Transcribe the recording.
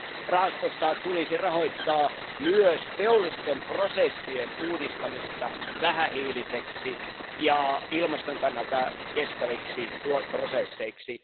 Rahastosta tulisi rahoittaa myös teollisten prosessien uudistamista vähähiilisiksi ja ilmaston kannalta kestäviksi prosesseiksi.